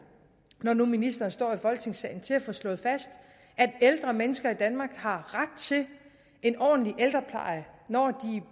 når nu ministeren står i folketingssalen til at få slået fast at ældre mennesker i danmark har ret til en ordentlig ældrepleje når de